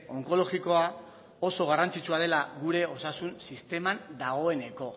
onkologikoa oso garrantzitsua dela gure osasun sisteman dagoeneko